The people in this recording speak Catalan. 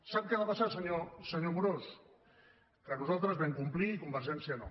sap què va passar senyor amorós que nosaltres vam complir i convergència no